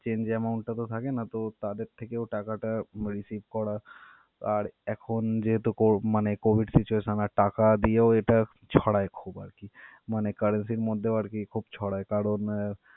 change amount টা তো থাকে না. তো তাদের থেকেও টাকাটা receive করা আর এখন যেহেতু কোর~ মানে COVID এর টাকা দিয়েও এটা ছড়ায় খুব আর কি. মানে currency এর মধ্যেও আর কি খুব ছড়ায়. কারণ.